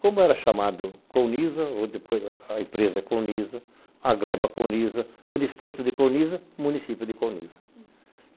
como era chamado Counisa, ou depois a empresa Counisa, a gleba Counisa, o distrito de Counisa, o município de Counisa.